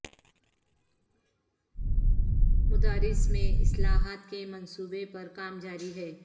مدارس میں اصلاحات کے منصوبے پر کام جاری ہے